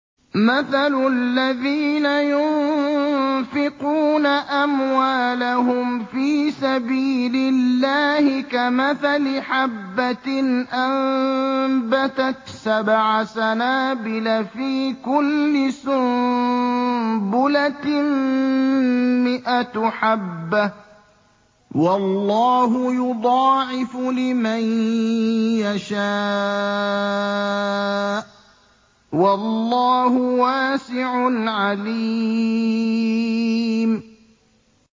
مَّثَلُ الَّذِينَ يُنفِقُونَ أَمْوَالَهُمْ فِي سَبِيلِ اللَّهِ كَمَثَلِ حَبَّةٍ أَنبَتَتْ سَبْعَ سَنَابِلَ فِي كُلِّ سُنبُلَةٍ مِّائَةُ حَبَّةٍ ۗ وَاللَّهُ يُضَاعِفُ لِمَن يَشَاءُ ۗ وَاللَّهُ وَاسِعٌ عَلِيمٌ